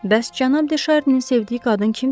Bəs Cənab De Şarninin sevdiyi qadın kimdir?